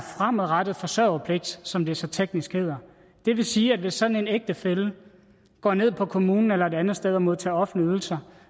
fremadrettet forsørgerpligt som det så teknisk hedder det vil sige at hvis sådan en ægtefælle går ned på kommunen eller et andet sted og modtager offentlige ydelser